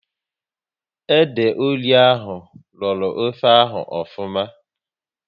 Ede ori ahụ rọrọ ofe ahụ ofuma